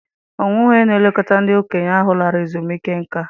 Ọ nweghị onye na-elekọta ndị okenye ahụ lara ezumike nká.